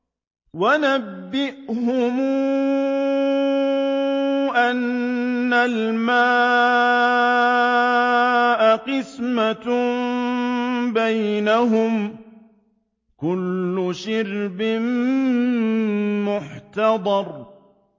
وَنَبِّئْهُمْ أَنَّ الْمَاءَ قِسْمَةٌ بَيْنَهُمْ ۖ كُلُّ شِرْبٍ مُّحْتَضَرٌ